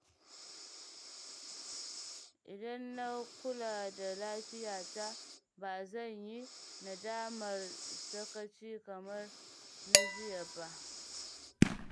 Idan na kula da lafiyata, ba zan yi nadamar sakaci kamar na jiya ba.